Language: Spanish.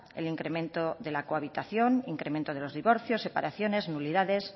el incremento de la cohabitación incremento de los divorcios separaciones nulidades